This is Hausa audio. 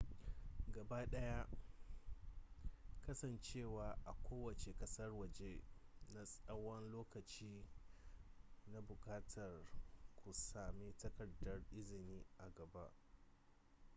gabaɗaya kasancewa a kowace ƙasar waje na tsawan lokaci na buƙatar ku sami takardar izini a gaba